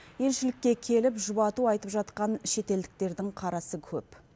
елшілікке келіп жұбату айтып жатқан шетелдіктердің қарасы көп